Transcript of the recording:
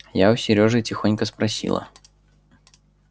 я у серёжи тихонько спросила